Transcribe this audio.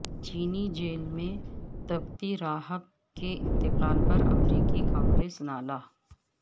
چینی جیل میں تبتی راہب کے انتقال پر امریکی کانگریس نالاں